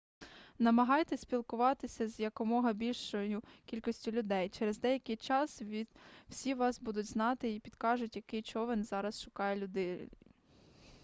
намагайтеся спілкуватися з якомога більшою кількістю людей через деякий час всі вас будуть знати й підкажуть який човен зараз шукає людей